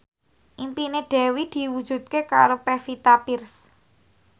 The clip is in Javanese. impine Dewi diwujudke karo Pevita Pearce